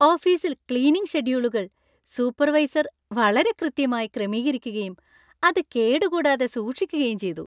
ഓഫീസിൽ ക്‌ളീനിംഗ് ഷെഡ്യൂളുകൾ സൂപ്പർവൈസർ വളരെ കൃത്യമായി ക്രമീകരിക്കുകയും അത് കേടുകൂടാതെ സൂക്ഷിക്കുകയും ചെയ്തു.